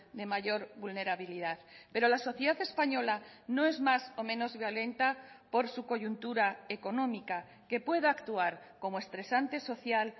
de mayor vulnerabilidad pero la sociedad española no es más o menos violenta por su coyuntura económica que pueda actuar como estresante social